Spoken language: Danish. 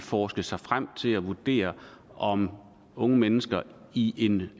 forske sig frem til at vurdere om unge mennesker i en